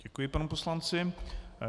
Děkuji panu poslanci.